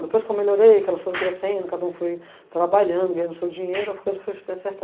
Depois que eu melhorei, que elas foram crescendo, cada um foi trabalhando, ganhando seu dinheiro, as coisas foram se acertando.